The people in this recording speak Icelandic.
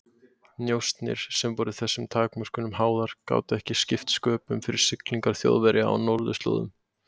Njósnir, sem voru þessum takmörkunum háðar, gátu ekki skipt sköpum fyrir siglingar Þjóðverja á norðurslóðum.